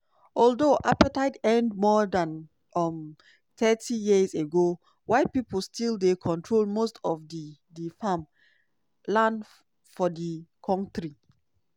although apartheid end more dan um thirty years ago white pipo still dey control most of di di farm land for di kontri.